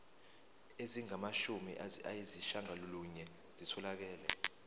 ezingamashumi ayishiyagalolunye zitholakele